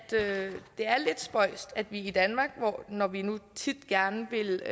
det er lidt spøjst at vi i danmark når vi nu tit gerne vil